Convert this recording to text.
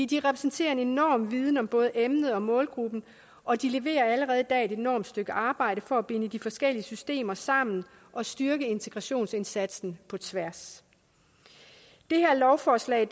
de repræsenterer en enorm viden om både emnet og målgruppen og de leverer allerede i dag et enormt stykke arbejde for at binde de forskellige systemer sammen og styrke integrationsindsatsen på tværs det her lovforslag